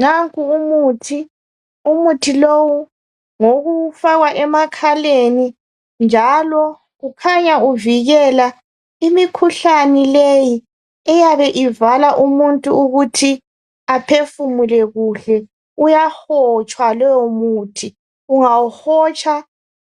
Nanku umuthi, umuthi lowu ngowokufaka emakhaleni njalo ukhanya uvikela imikhuhlane leyi eyabe ivala umuntu ukuthi aphefumule kuhle. Uyahotshwa lowo muthi. Ungawuhotsha